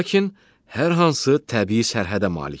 Lakin hər hansı təbii sərhədə malikdir.